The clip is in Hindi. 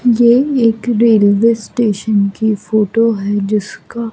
ये एक रेलवे स्टेशन की फोटो है जिसका--